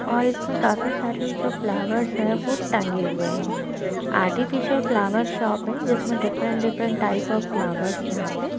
और इसमें काफी सारे जो फ्लावर्स है वह टंगे हुए है आर्टिफिशियल फ्लावर शॉप है जिसमें different different type of flowers यहाँ पे--